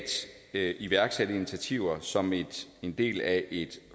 at iværksætte initiativer som en del af et